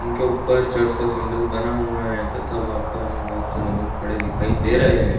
उनके ऊपर चर्च का सिमबोल बना हुआ है तथा वहाँ पे हमे बहुत से लोग खड़े दिखाई दे रहे है।